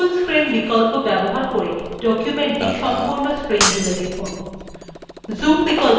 full screen বিকল্প ব্যবহার করে document সম্পূর্ণ screen জুড়ে দেখুন